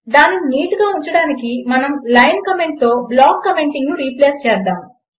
దానిని నీట్గా ఉంచడానికి మనం లైన్ కామెంట్తో బ్లాక్ కామెంటింగ్ రిప్లేస్ చేయగలము